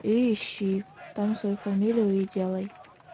и ищи там свою фамилию и делай